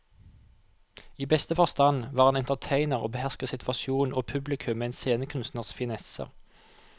I beste forstand var han entertainer og behersket situasjonen og publikum med en scenekunstners finesser.